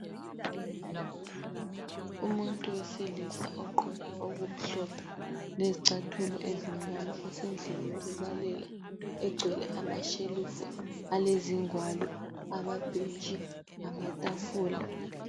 Umuntu oyisilisa ogqoke okumhlophe lezicathulo ezimnyama usendlini yokubalela egcwele amashelufu alezingwalo, amabhentshi lamatafula.